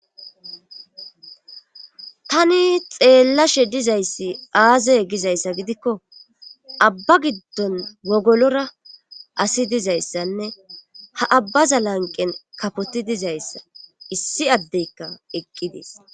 tani xeellashe dizayssi aaze gizayssa gidikko abba giddon wogolora asi dizayssanne ha abbaza lanqen kapoti dizayssa issi addeykka eqqi dees